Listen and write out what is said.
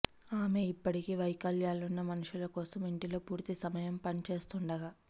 ఆమె ఇప్పటికీ వైకల్యాలున్న మనుషులు కోసం ఇంటిలో పూర్తి సమయం పనిచేస్తుండగా